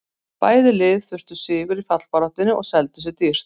Bæði lið þurftu sigur í fallbaráttunni og seldu sig dýrt.